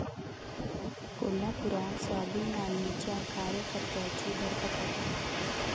कोल्हापुरात स्वाभिमानीच्या कार्यकर्त्यांची धरपकड